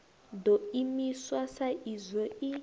ḓo imiswa sa izwo i